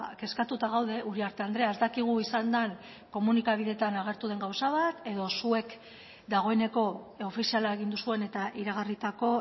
kezkatuta gaude uriarte andrea ez dakigu izan den komunikabideetan agertu den gauza bat edo zuek dagoeneko ofiziala egin duzuen eta iragarritako